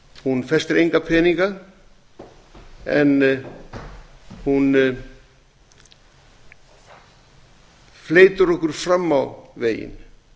hún festir enga peninga en hún fleytir okkur fram á veginn